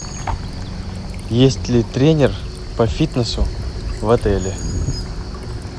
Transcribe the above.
есть ли тренер по фитнесу в отеле